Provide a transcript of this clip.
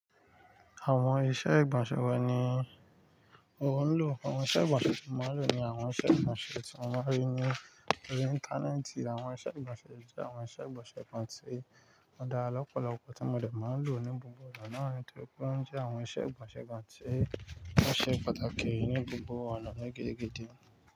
Àwọn iṣẹ́ ìgbọ̀nsẹ̀ wo ni ò ń lò. Àwọn iṣẹ́ ìgbọ̀nsẹ̀ tí mò ń lò ni àwọn iṣẹ́ ìgbọ̀nsẹ̀ tí mò ń rí ní orí Íńtánẹ́ẹ̀tì. Àwọn iṣẹ́ ìgbọ̀nsẹ̀ jẹ́ àwọn iṣẹ́ ìgbọ̀nsẹ̀ kan tí ó dára lọ́pọ̀lọpọ̀ tí mo lè máa ń lò ní gbogbo ìgbà náà rí, tí ó pé ń jẹ́ àwọn iṣẹ́ ìgbọ̀nsẹ̀ kan tí ó ṣe pàtàkì ní gbogbo ọ̀nà ní gidi gan.